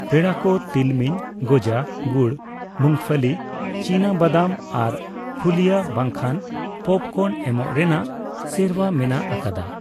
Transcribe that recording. ᱯᱮᱲᱟᱠᱚ ᱛᱤᱞᱢᱤᱧ, ᱜᱚᱡᱟ, ᱜᱩᱲ, ᱢᱩᱝᱯᱷᱚᱞᱤ ( ᱪᱤᱱᱟᱹ ᱵᱟᱫᱟᱢ ) ᱟᱨ ᱯᱷᱩᱞᱤᱭᱟ ᱵᱟᱝᱠᱷᱟᱱ ᱯᱚᱯᱠᱚᱨᱱ ᱮᱢᱚᱜ ᱨᱮᱱᱟᱜ ᱥᱮᱨᱣᱟ ᱢᱮᱱᱟᱜ ᱟᱠᱟᱫᱟ ᱾